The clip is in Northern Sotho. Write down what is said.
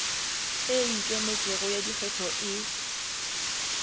e ikemetšego ya dikgetho e